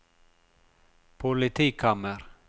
politikammer